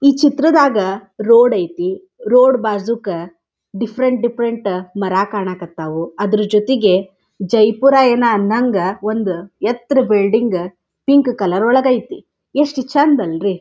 ಈ ಚಿತ್ರದಾಗ ರೋಡ್ ಆಯ್ತಿ ರೋಡ್ ಬಾಜುಗ ಡಿಫರೆಂಟ್ ಡಿಫರೆಂಟ್ ಮರ ಕಾನಾಕ್ ಹತ್ತವು ಅದ್ರ ಜೊತೆಗೆ ಜೈಪುರ ಅನ್ನೋಹಂಗ ಒಂದ್ ಎತ್ತರ ಬಿಲ್ಡಿಂಗ್ ಪಿಂಕ್ ಕಲರ್ ಒಳಗೆ ಆಯ್ತಿ. ಯೆಸ್ಟ್ ಚೆನ್ದ್ ಅಲ್ರಿ.